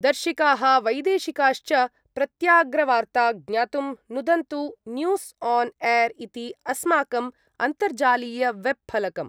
दर्शिकाः वैदेशिकाश्च प्रत्यग्रवार्ता ज्ञातुं नुदन्तु न्यूस् आन् एर् इति अस्माकम् अन्तर्जालीयवेब्फलकम्।